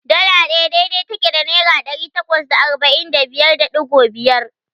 Dala ɗaya dai-dai take da Naira ɗari takwas da arba'in da biyar da ɗigo biyar.